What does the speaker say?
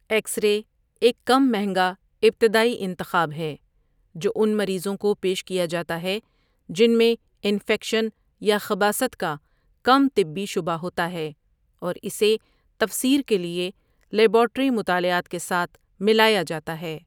X ray ایک کم مہنگا ابتدائی انتخاب ہے جو ان مریضوں کو پیش کیا جاتا ہے جن میں انفیکشن یا خباثت کا کم طبی شبہ ہوتا ہے اور اسے تفسیر کے لیے لیبارٹری مطالعات کے ساتھ ملایا جاتا ہے۔